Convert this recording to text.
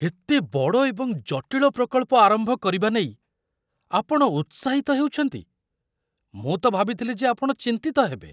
ଏତେ ବଡ଼ ଏବଂ ଜଟିଳ ପ୍ରକଳ୍ପ ଆରମ୍ଭ କରିବା ନେଇ ଆପଣ ଉତ୍ସାହିତ ହେଉଛନ୍ତି? ମୁଁ ତ ଭାବିଥିଲି ଯେ ଆପଣ ଚିନ୍ତିତ ହେବେ!